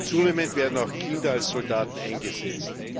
Zunehmend werden auch Kinder als Soldaten eingesetzt.